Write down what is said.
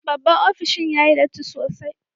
Babban opishin yayi datti sosai.